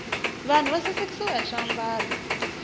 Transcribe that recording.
vanhu va sasikiswa hi swiambalo